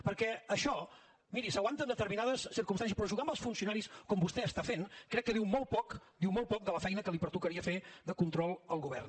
perquè això miri s’aguanta en determinades circumstàncies però jugar amb els funcionaris com vostè està fent crec que diu molt poc diu molt poc de la feina que li pertocaria fer de control al govern